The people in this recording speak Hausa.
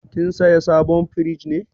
Kin saya sabon firij ne?